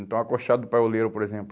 Então, acochado do paioleiro, por exemplo.